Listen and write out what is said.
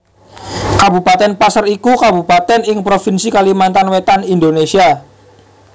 Kabupatèn Paser iku kabupatèn ing Provinsi Kalimantan Wétan Indonésia